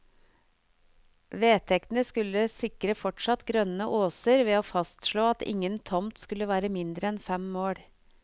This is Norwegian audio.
Vedtekten skulle sikre fortsatt grønne åser ved å fastslå at ingen tomt skulle være mindre enn fem mål.